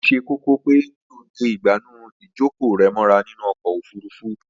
Ó ṣe kókó pé kí o de ìgbànú ìjókòó rẹ mọ́ra nínú ọkọ̀ ofurufú